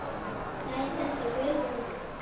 Hæ, þetta er Guðrún